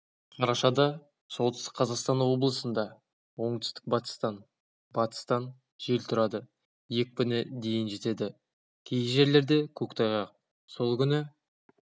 қарашада солтүстік қазақстан облысында оңтүстік-батыстан батыстан жел тұрады екпіні дейін жетеді кей жерлерде көктайғақ сол күні